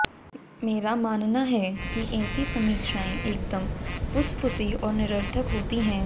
मेरा मानना है कि ऐसी समीक्षाएं एकदम फुसफुसी और निरर्थक होती हैं